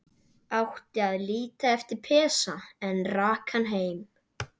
Átti að líta eftir Pésa, en rak hann heim.